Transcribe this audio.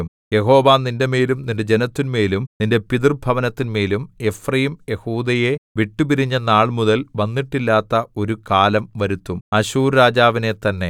യഹോവ നിന്റെമേലും നിന്റെ ജനത്തിന്മേലും നിന്റെ പിതൃഭവനത്തിന്മേലും എഫ്രയീം യെഹൂദയെ വിട്ടുപിരിഞ്ഞ നാൾമുതൽ വന്നിട്ടില്ലാത്ത ഒരു കാലം വരുത്തും അശ്ശൂർരാജാവിനെത്തന്നെ